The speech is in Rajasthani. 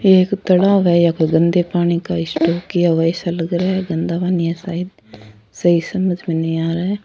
एक तालाब है यहां गंदे पानी का स्टॉक किया हुआ ऐसा लग रहा है गंदा पानी है शायद सही समझ में नहीं आ रहा है।